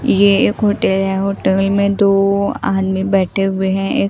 ये एक होटल है होटल में दो आदमी बैठे हुए हैं एक--